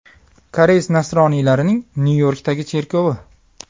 Koreys nasroniylarining Nyu-Yorkdagi cherkovi.